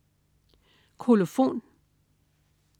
Kolofon